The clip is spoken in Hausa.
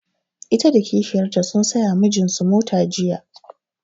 Ita da kishiyar ta sun saya wa mijin su mota jiya